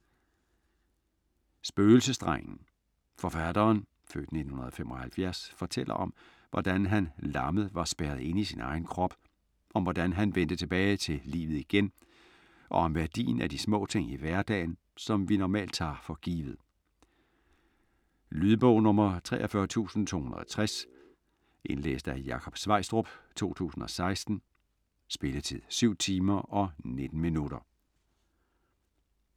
Spøgelsesdrengen Forfatteren (f. 1975) fortæller om, hvordan han lammet var spærret inde i sin egen krop, om hvordan han vendte tilbage til livet igen og om værdien af de små ting i hverdagen, som vi normalt tager for givet. Lydbog 43260 Indlæst af Jakob Sveistrup, 2016. Spilletid: 7 timer, 19 minutter.